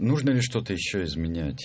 нужно ли что-то ещё изменять